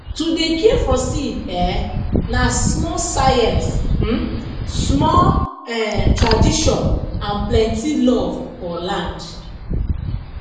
to dey care for seed um na small science um small um tradition and plenty love for land